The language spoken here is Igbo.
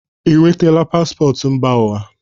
i nwetaala pạasọtụ mba ụwa?